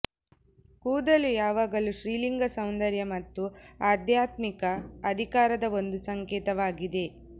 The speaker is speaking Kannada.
ಕೂದಲು ಯಾವಾಗಲೂ ಸ್ತ್ರೀಲಿಂಗ ಸೌಂದರ್ಯ ಮತ್ತು ಆಧ್ಯಾತ್ಮಿಕ ಅಧಿಕಾರದ ಒಂದು ಸಂಕೇತವಾಗಿದೆ